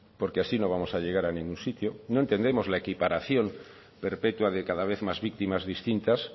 porque así no vamos a llegar a ningún sitio no entendemos la equiparación perpetua de cada vez más víctimas distintas